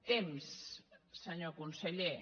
temps senyor conseller